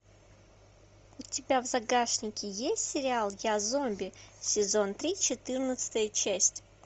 у тебя в загашнике есть сериал я зомби сезон три четырнадцатая часть